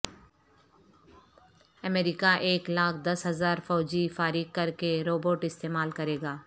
امریکا ایک لاکھ دس ہزار فوجی فارغ کرکے روبوٹ استعمال کرے گا